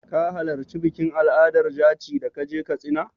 Ka halarci bikin al'adar jaci da ka je Katsina?